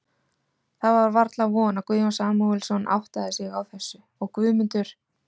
Það var varla von, að Guðjón Samúelsson áttaði sig á þessu, og Guðmundur